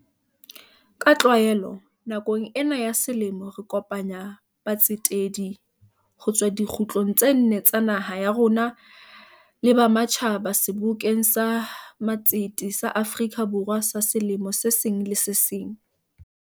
Ka tlwaelo, nakong ena ya selemo re kopanya batsetedi ho tswa dikgutlong tse nne tsa naha ya rona le ba ma tjhaba Sebokeng sa Matsete sa Afrika Borwa sa selemo se seng le se seng.